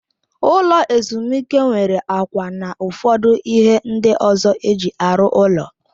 Ụlọ ezumike nwere akwa na ụfọdụ ihe ndị ọzọ eji arụ ụlọ.